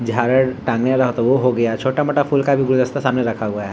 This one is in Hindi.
झालर टांगे रहे तो वो हो गया छोटा-मोटा फूल का भी गुलदस्ता सामने रखा हुआ है।